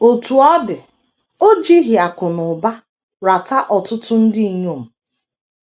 Otú ọ dị, o jighị akụ̀ na ụba rata ọtụtụ ndị inyom.